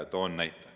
Toon näite.